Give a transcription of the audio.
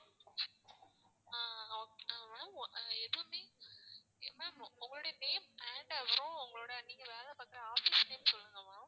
ஆஹ் ma'am எதுமே ma'am உங்களுடைய name வேண்டாம் அப்பறம் நீங்க வேலை பார்க்குற office name சொல்லுங்க ma'am